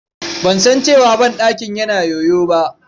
Ban san cewa banɗakin yana yoyo ba.